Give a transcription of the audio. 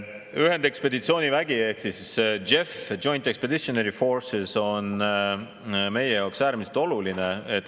Ühendekspeditsioonivägi ehk JEF – Joint Expeditionary Force – on meie jaoks äärmiselt oluline.